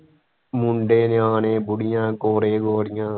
ਮੁੰਡੇ ਨਿਆਣੇ ਬੁੱਢੀਆਂ ਗੋਰੇ ਗੋਰੀਆਂ